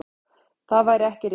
Það væri ekki rétt.